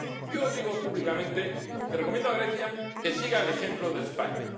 Yo digo públicamente que recomiendo a Grecia que siga el ejemplo de España.